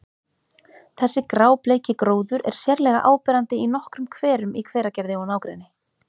Þessi grábleiki gróður er sérlega áberandi í nokkrum hverum í Hveragerði og nágrenni.